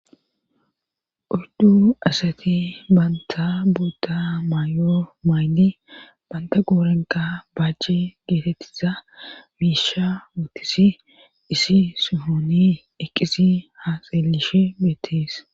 uyddu asati banta buta maayoo maayidi banta qoorenqa baajce geetettiza biisha wuotisi isi sihoni eqqisi haa xeelishe beettees